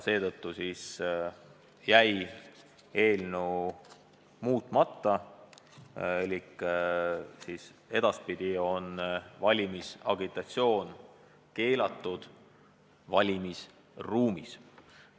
Seetõttu jäi eelnõu muutmata ehk edaspidi on valimisagitatsioon keelatud valimisruumis.